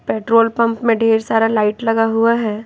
Petrol pump में ढेर सारा लाइट लगा हुआ है।